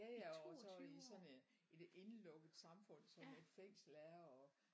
Jaja og så i sådan en et indelukket samfund som et fængsel er